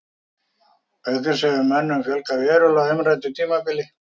Auk þess hefur mönnum fjölgað verulega á umræddu tímabili.